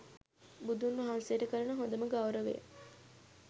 බුදුන් වහන්සේට කරන හොඳම ගෞරවය